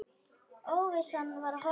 Óvissan var horfin.